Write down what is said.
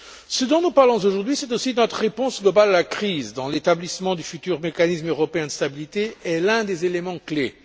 Ce dont nous parlons aujourd'hui, c'est aussi de notre réponse globale à la crise dont l'établissement du futur mécanisme européen de stabilité est l'un des éléments clés.